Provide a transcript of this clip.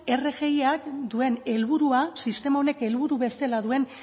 rgiak duen helburua sistema honek helburu bezala duen